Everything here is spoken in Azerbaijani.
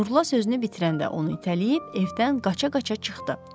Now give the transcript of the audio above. Nurla sözünü bitirəndə onu itələyib evdən qaça-qaça çıxdı.